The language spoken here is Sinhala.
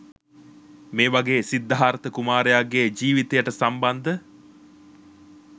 මේ වගේ සිද්ධාර්ථ කුමාරයාගේ ජීවිතයට සම්බන්ධ